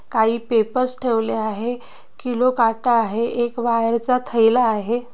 काही पेपर्स ठेवले आहेत किलो काटा आहे एक वायर चा थैला आहे.